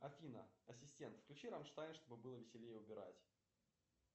афина ассистент включи рамштайн чтобы было веселее убирать